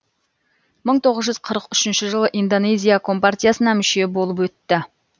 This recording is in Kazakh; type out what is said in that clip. мың тоғыз жүз қырық үшінші жылы индоезия компартиясына мүше болып өтті